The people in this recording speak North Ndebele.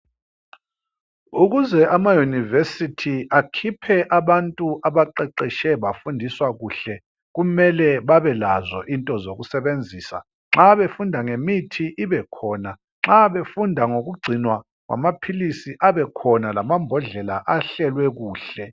Ukuze amaYunivesithi akhiphe abantu abaqeqetshe bafundiswa kuhle kumele babelazo into zokusebenzisa nxa befunda ngemithi ibe khona nxa befunda ngokugcinwa kwamaphilisi abe khona lamabhodlela ahlelwe kuhle.